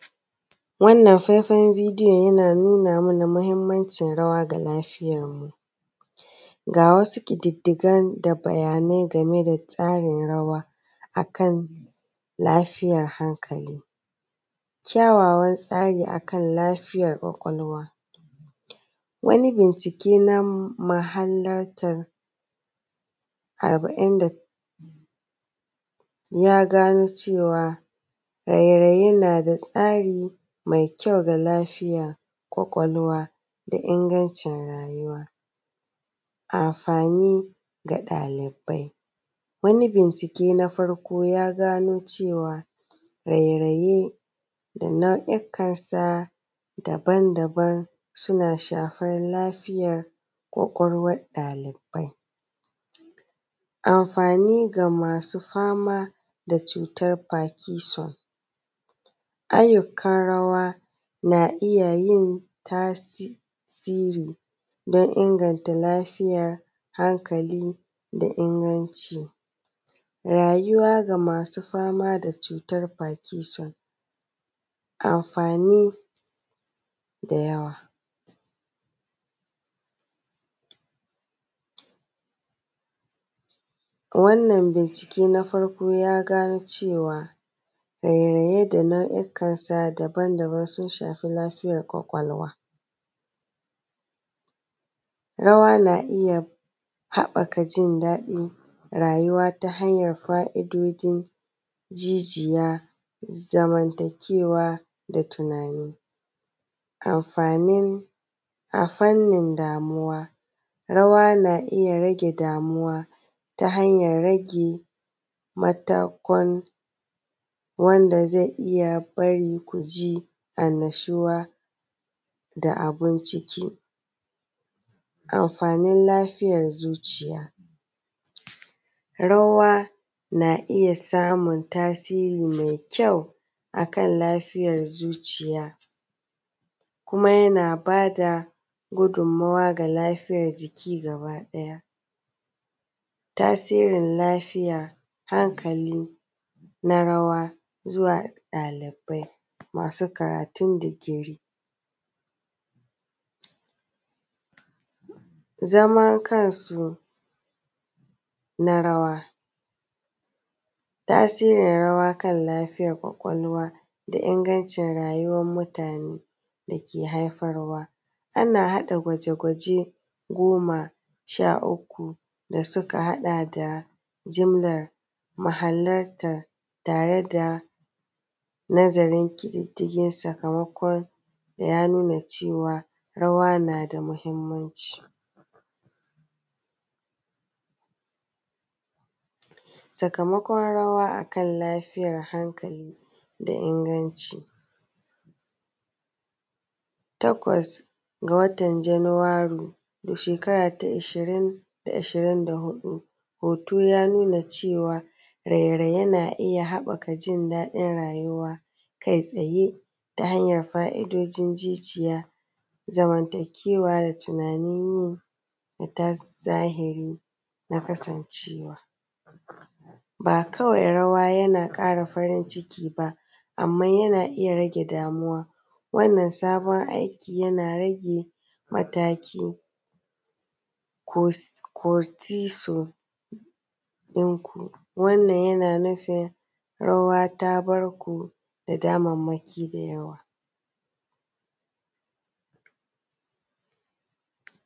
Wannan faifan bidiyon yana nuna mana mahimmancin rawa ga lafiyarmu, ga wasu ƙididdigan da bayanai game da tsarin rawa akan lafiyar hankali: kyawawan tsari akan lafiyar kwakwalwa wani bincike na muhallartar arba’in da ya gano cewa raye-raye na da tsari mai kyau ga lafiyar kwakwalwa da ingancin rayuwa, amfani ga ɗalibai. Wani bincike na farko ya gano cewa raye-raye da na’uikansa daban-daban suna shafar lafiyar kwakwalwar ɗalibai. Amfani ga masu fama da cutar fakishon ayyukan rawa na iya yin tasiri dan inganta lafiyar hankali da ingancin rayuwa ga masu fama da cutar bagishon, amfani da yawa wannan bincike na farko ya gano cewa raye-raye da na’uikansa daban-daban sun shafi lafiyar kwakwalwa. Rawa na iya haɓaka jin daɗin rayuwa ta hanyar fa’idojin jijiya, zamantakewa da tunani, amfanin a fannin damuwa rawa na iya rage damuwa ta hanyar rage mata kun wanda zai iya bari ku ji annashuwa da abun ciki. mfanin lafiyar zuciya rawa na iya samun tasiri mai kyau akan lafiyar zuciya kuma yana bada gudummawa ga lafiyar jiki gabaɗaya, tasirin lafiya, hankali na rawa zuwa ɗalibai masu karatun digiri, zamankansu na rawa. Tasirin rawa kan lafiyar kwakwalwa da ingancin rayuwan mutane dake haifarwa ana haɗa gwaje-gwaje goma sha uku da suka haɗa da jimlar mahallartar tare da nazarin ƙididdigin sakamakon yankuna cewa rawa na da mahimmanci. Sakamakon rawa a kan lafiyar hankali da inganci takwas ga watan janairu shekara ta ishirin da huɗu hoto ya nuna cewa raye-raye na iya haɓaka jin daɗin rayuwa kai tsaye ta hanyar fa’idojin jijiya, zamantakewa da tunanin yi na zahiri na kasancewa ba kawai rawa yana ƙara farinciki ba, amma yana rage damuwa wannan sabon aiki yana rage mataki ko tisu yanku wannan yana nufin rawa ta bar ku da damammaki da yawa.